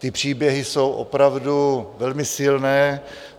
Ty příběhy jsou opravdu velmi silné.